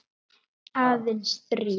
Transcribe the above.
Aðeins þrír.